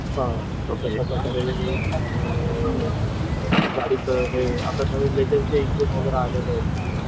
आपलं गाडीचं हे आता लेटेस्ट नवीन इंजिन जे आलेले आहेत